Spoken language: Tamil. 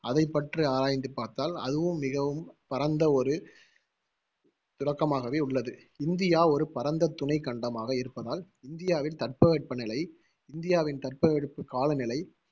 அதைப்பற்றி ஆராய்ந்து பார்த்தால் அதுவும் மிகவும் பரந்த ஒரு உள்ளது இந்தியா ஒரு பரந்த துணைக்கண்டமாக இருப்பதால் இந்தியாவில் தட்பவெட்ப நிலை இந்தியாவின் தட்ப வெட்ப கால நிலை